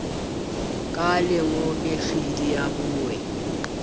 ka lengope kgidi ya boi